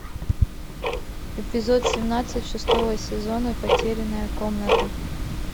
эпизод семнадцать шестого сезона потерянная комната